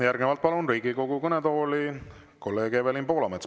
Järgnevalt palun Riigikogu kõnetooli kolleeg Evelin Poolametsa.